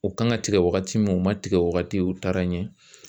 U kan ka tigɛ wagati min u ma tigɛ wagati u taara ɲɛ